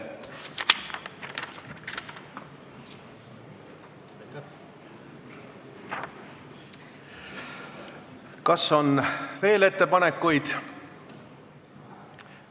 Kas on veel ettepanekuid?